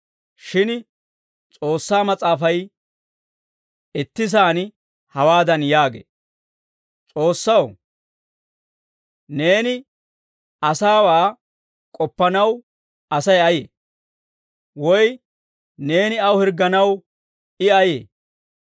Shin S'oossaa Mas'aafay ittisaan hawaadan yaagee; «S'oossaw, neeni asaawaa k'oppanaw Asay ayee? Woy neeni aw hirgganaw I ayee?